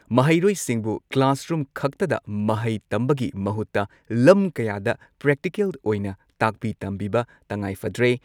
ꯃꯍꯩꯔꯣꯏꯁꯤꯡꯕꯨ ꯀ꯭ꯂꯥꯁꯔꯨꯝ ꯈꯛꯇꯗ ꯃꯍꯩ ꯇꯝꯕꯒꯤ ꯃꯍꯨꯠꯇ ꯂꯝ ꯀꯌꯥꯗ ꯄ꯭ꯔꯦꯛꯇꯤꯀꯦꯜ ꯑꯣꯏꯅ ꯇꯥꯛꯄꯤ ꯇꯝꯕꯤꯕ ꯇꯉꯥꯏꯐꯗ꯭ꯔꯦ ꯫